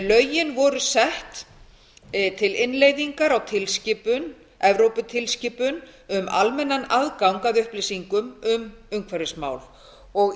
lögin voru sett til innleiðingar á tilskipun evróputilskipun um almennan aðgang að upplýsingum um umhverfismál og